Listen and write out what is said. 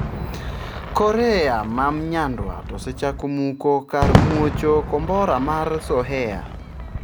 Korea ma mnyandwat osechako muko kar muocho kombora mar Sohae.